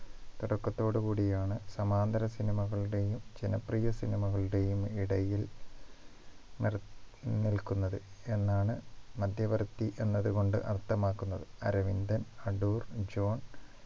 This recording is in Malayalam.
തുടക്കത്തോട് കൂടിയാണ് സമാന്തര cinema കളുടെയും ജനപ്രിയ cinema കളുടെയും ഇടയിൽ നിർ നിൽക്കുന്നത് എന്നാണ് മധ്യവർത്തി എന്നതു കൊണ്ട് അർത്ഥമാക്കുന്നത് അരവിന്ദൻ അടൂർ ജോൺ